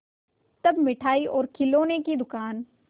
तब मिठाई और खिलौने की दुकान